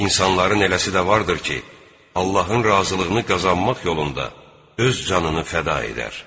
İnsanların eləsi də vardır ki, Allahın razılığını qazanmaq yolunda öz canını fəda edər.